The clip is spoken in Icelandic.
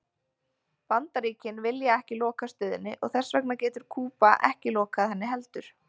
Bandaríkin vilja ekki loka stöðinni og þess vegna getur Kúba ekki lokað henni heldur.